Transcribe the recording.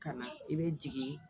Ka na i bɛ jigin